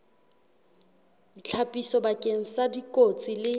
ditlhapiso bakeng sa dikotsi le